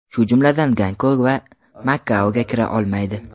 shu jumladan Gonkong va Makaoga kira olmaydi.